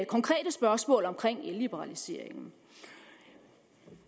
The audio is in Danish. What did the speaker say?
konkrete spørgsmål om elliberaliseringen